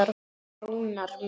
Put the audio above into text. Rúnar minn.